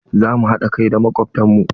Za mh haɗa kai da makobtan mu.